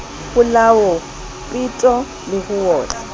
polao peto le ho otlwa